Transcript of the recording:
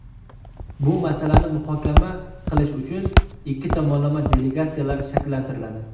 Bu masalani muhokama qilish uchun ikki tomondan delegatsiyalar shakllantiriladi.